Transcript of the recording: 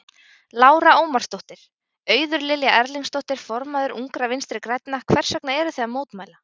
Lára Ómarsdóttir: Auður Lilja Erlingsdóttir, formaður Ungra Vinstri-grænna, hvers vegna eruð þið að mótmæla?